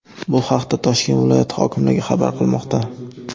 Bu haqda Toshkent viloyati hokimligi xabar qilmoqda .